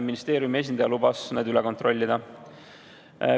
Ministeeriumi esindaja lubas need üle kontrollida.